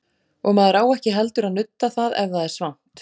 Og maður á ekki heldur að nudda það ef það er svangt.